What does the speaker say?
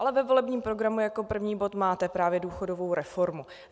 Ale ve volebním programu jako první bod máte právě důchodovou reformu.